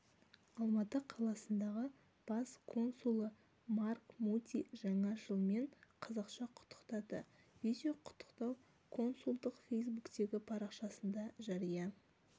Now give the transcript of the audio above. алматы қаласындағы бас консулы марк муди жаңа жылмен қазақша құттықтады видео құттықтау консулдықтың фейсбуктегі парақшасында жария